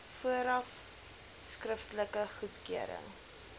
vooraf skriftelike goedkeuring